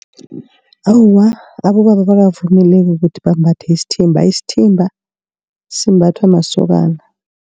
Awa abobaba abakavumeleki ukuthi bambathe isithimba, isithimba simbathwa masokana.